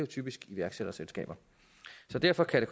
typisk iværksætterselskaber så derfor kan det